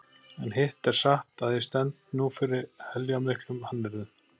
En hitt er satt að ég stend nú fyrir heljarmiklum hannyrðum.